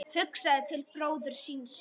Hugsaði til bróður síns.